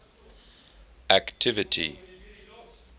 activity